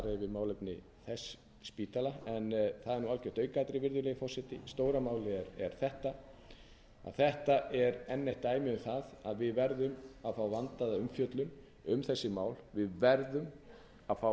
yfir málefni þess spítala en það er algjört aukaatriði virðulegi forseti stóra málið er þetta að þetta er enn eitt dæmið um það að að við verðum að fá vandaða umfjöllun um þessi mál við verðum að fá